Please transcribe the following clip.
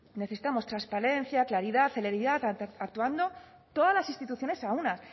necesitamos transparencia claridad celeridad actuando todas las instituciones a una